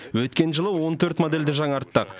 өткен жылы он төрт модельді жаңартттық